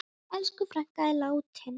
Elsku frænka er látin.